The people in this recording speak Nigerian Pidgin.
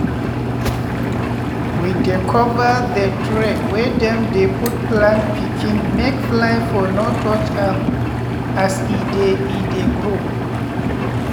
we dey cover the tray wey dem dey put plant pikin make fly for no touch am as e dey e dey grow.